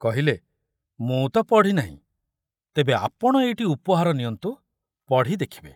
କହିଲେ, ମୁଁ ତ ପଢ଼ିନାହିଁ, ତେବେ ଆପଣ ଏଇଟି ଉପହାର ନିଅନ୍ତୁ, ପଢ଼ି ଦେଖିବେ।